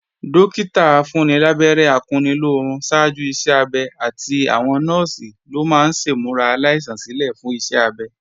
Dọ́kítà afúnnilábẹ́rẹ́ akunnilóorun ṣáájú iṣẹ́-abẹ àti àwọn Nọ́ọ̀sì ló máa ń ṣèmúra aláìsàn sílè fún iṣẹ́ abẹ